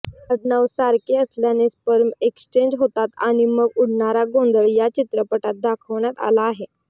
आडनाव सारखे असल्यानं स्पर्म एक्सजेंच होतात आणि मग उडणारा गोंधळ या चित्रपटात दाखवण्यात आला आहे